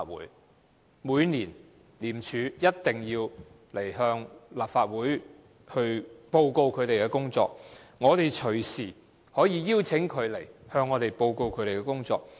廉署每年一定要向立法會報告其工作，我們隨時可以邀請廉署前來向我們報告工作。